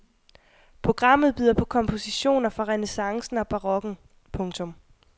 Programmet byder på kompositioner fra renæssancen og barokken. punktum